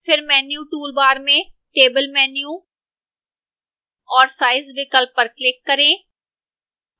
फिर menu toolbar में table menu और size विकल्प पर click करें